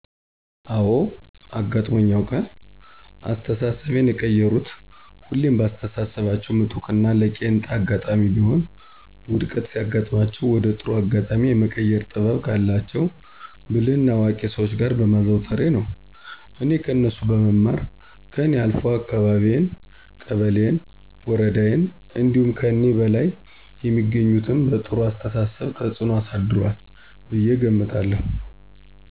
አወ አጋጥሞኝ ያውቃል። አስተሳሰቤን የቀየሩት ሁሌም በአስተሳሰባቸው ምጡቅና ለቄንጣ አጋጣሜም ቢሆን ውድቀት ሲያጋጥማቸው ወደ ጥሩ አጋጣሜ የመቀየር ጥበብ ካላቸው ብልህና አዋቂ ሰዎች ጋር በማዘውተሬ ነው። እኔ ከነሱ በመማር ከኔ አልፎ አካባቢየን፣ ቀበሌየን፣ ወረዳየን እንዲሁም ከኒህ በላይ የሚገኙትም በጥሩው አስተሳሰብ ተፅኖ አሳድሯል ብየ እገምታለሁ።